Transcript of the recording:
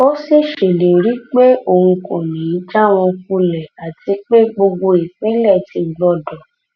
ó sì ṣèlérí pé òun kò ní í já wọn kulẹ àti pé gbogbo ìpínlẹ ti gbòdo